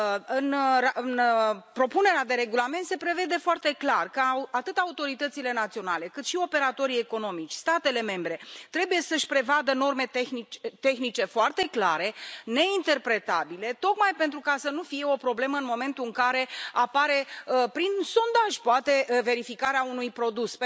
În propunerea de regulament se prevede foarte clar că atât autoritățile naționale, cât și operatorii economici, statele membre trebuie să își prevadă norme tehnice foarte clare, neinterpretabile, tocmai pentru ca să nu fie o problemă în momentul în care apare prin sondaj, poate, verificarea unui produs